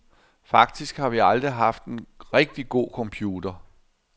Faktisk har vi aldrig haft en rigtig god computer.